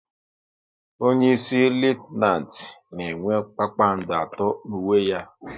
Onyeisi Litenant na enwe kpakpando atọ n'uwe ya